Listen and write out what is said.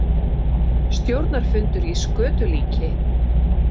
Stjórnarfundur í skötulíki